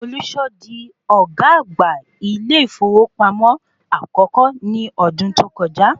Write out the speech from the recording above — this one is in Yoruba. Folúṣọ́ di ọ̀gá àgbà ilé ìfowópamọ́ akọ́kọ́ ní ọdún tí o kọjá.